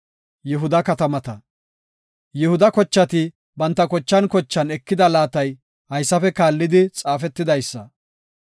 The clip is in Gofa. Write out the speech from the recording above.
Yihuda kochati banta kochan kochan ekida laatay haysafe kaallidi xaafetidaysa.